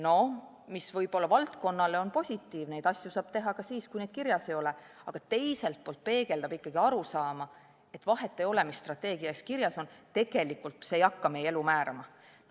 Noh, võib-olla valdkonnale on positiivne, et neid asju saab teha ka siis, kui neid kirjas ei ole, aga teiselt poolt peegeldab see ikkagi arusaama, et vahet ei ole, mis strateegias kirjas on, tegelikult ei hakka see meie elu määrama.